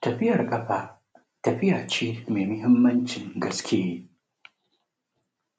Tafiyar ƙafa tafiya ce mai mahimmancin gaske,